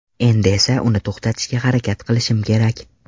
Endi esa uni to‘xtatishga harakat qilishim kerak.